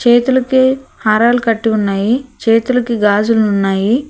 చేతులుకి హారాలు కట్టి ఉన్నాయి చేతులుకి గాజులు ఉన్నాయి.